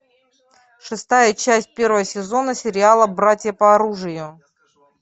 шестая часть первого сезона сериала братья по оружию